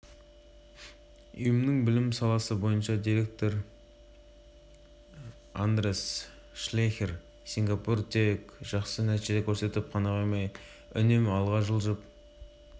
ұйымы басқаратын танымал тізімді жасау барысында мемлекеттіңсоңғы жылдағы жетістіктері ескерілген үздік бестікте сингапурдан басқа жапония